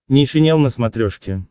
нейшенел на смотрешке